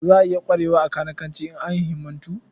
Za a iya ƙwarewa a kanikanci in an himmatu.